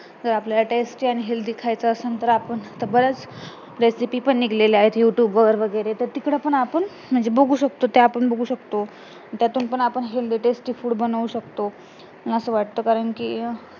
तर आपल्याला tasty आणि healthy पण food खायचा असेल तर आपण बराच recipe पण निघाल्या आहेत Youtube वर वगैरे तर तिकडे पण आपण म्हणजे बघू शकतो त्या आपण बघू शकतो त्यातून पण आपण healthy tasty food बनवू शकतो असं वाटतं कारण कि अं